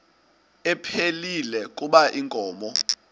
ephilile kuba inkomo